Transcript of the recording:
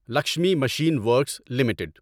Lakshmi machine works limited